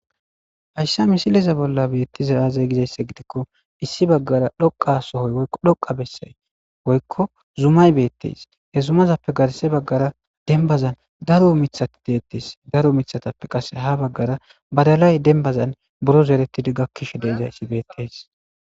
Hayasa misileza bola betiza aze gizaysa gidiko issi bagara dhoqa sohoy woyko dhoqa besay woyko zumay betes he zumazape garse bagara denbazan daro mithati detes daro mithatape qase ha bagara denbazan bodalay buro zeredidi gakishe de'izaysi betes